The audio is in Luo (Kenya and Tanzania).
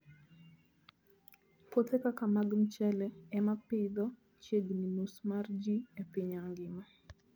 Puothe kaka mag mchele ema pidho chiegni nus mar ji e piny mangima.